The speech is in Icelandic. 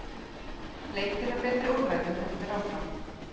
Leitin að betri úrræðum heldur áfram.